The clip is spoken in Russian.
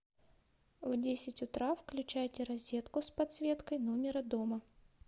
в десять утра включайте розетку с подсветкой номера дома